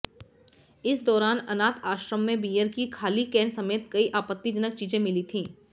इस दौरान अनाथ आश्रम में बियर की खाली केन समेत कई आपत्तिजनक चीजें मिली थी